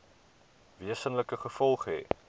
wesenlike gevolge hê